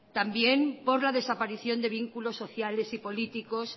también por la desaparición de vínculos sociales y políticos